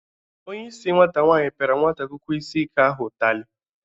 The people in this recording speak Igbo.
Onyeisi nwata nwaanyị pịara nwata akwụkwọ isi ike ahụ ụtalị.